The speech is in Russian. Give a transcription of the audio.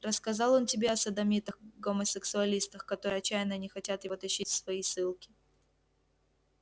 рассказал он тебе о содомитах-гомосексуалистах которые отчаянно не хотят его тащить в свои ссылки